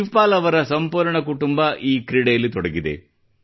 ಶಿವಪಾಲ್ ಅ಻ವರ ಸಂಪೂರ್ಣ ಕುಟುಂಬ ಈ ಕ್ರೀಡೆಯಲ್ಲಿ ತೊಡಗಿದೆ